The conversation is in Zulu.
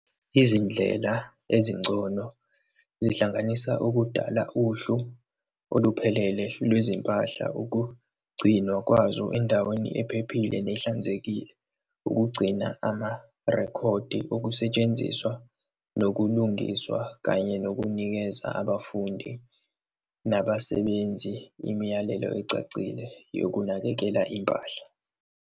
Izindlela ezingcono zihlanganisa ukudala uhlu oluphelele lwezimpahla, ukugcinwa kwazo endaweni ephephile nehlanzekile, ukugcina amarekhodi okusetshenziswa nokulungiswa, kanye nokunikeza abafundi nabasebenzi imiyalelo ecacile yokunakekela impahla.